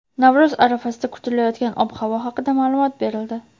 Navro‘z arafasida kutilayotgan ob-havo haqida ma’lumot berildi.